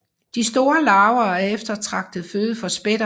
De store larver er eftertragtet føde for spætter